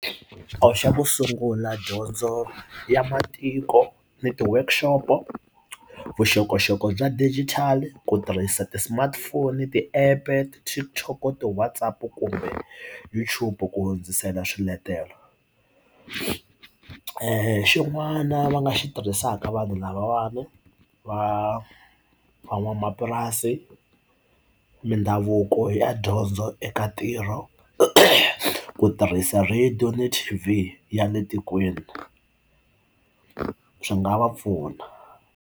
A wu xa ku sungula dyondzo ya matiko ni ti workshop vuxokoxoko bya digital ku tirhisa ti smartphone ti-App ti TikTok ti WhatsApp kumbe YouTube ku hundzisela swiletelo a i xin'wana va nga xi tirhisaka vanhu lavawani va van'wamapurasi mindhavuko ya dyondzo eka ntirho eku tirhisa radio na T_V ya le tikweni swi nga va pfuna.